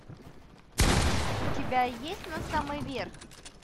у тебя есть на самый верх